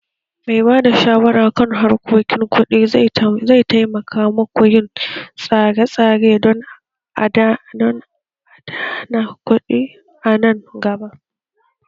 Mai ba da shawara kan harkokin kuɗi zai taimaka muku yin tsare-tsare don adana kuɗi a nan gaba